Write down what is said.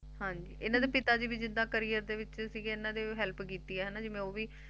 ਹਾਂਜੀ ਇਹਨਾ ਦੇ ਪਿਤਾ ਵੀ ਜਿੱਦਾ Career ਦੇ ਵਿੱਚ ਸਿਗੇ ਇਹਨਾਂ ਦੀ Help ਕੀਤੀ ਹੈ ਹੈਨਾ